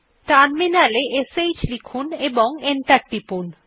terminal এ শ্ লিখুন এবং এন্টার টিপুন